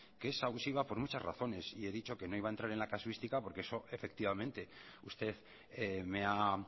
que es abusiva por muchas razones y he dicho que no iba a entrar en la casuística porque eso efectivamente usted me ha